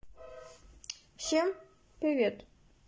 всем привет